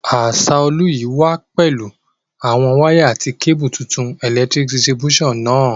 Asaolu yi wa pẹ̀lu àwon wire àti cable tuntun electric distribution náà